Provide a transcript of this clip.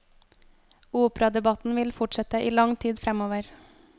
Operadebatten vil fortsette i lang tid fremover.